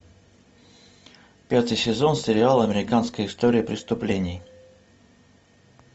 пятый сезон сериала американская история преступлений